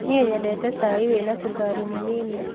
Niĩ nyendete cai wĩna cukari mũnini.